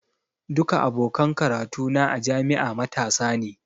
Duka abokan karatu na a jami'a matasa ne.